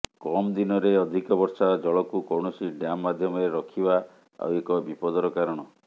କମ୍ ଦିନରେ ଅଧିକ ବର୍ଷା ଜଳକୁ କୌଣସି ଡ୍ୟାମ୍ ମାଧ୍ୟମରେ ରଖିବା ଆଉ ଏକ ବିପଦର କାରଣ